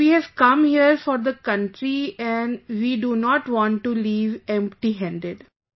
Because we have come here for the country and we do not want to leave empty handed